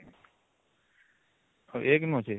ଆଉ ୧ ନୁ ଅଛି